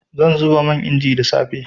Zan zuba man inji da safe.